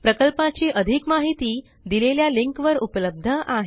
प्रकल्पाची अधिक माहिती दिलेल्या लिंकवर उपलब्ध आहे